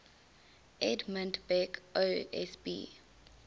edmund beck osb